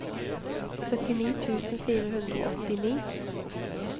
syttini tusen fire hundre og åttini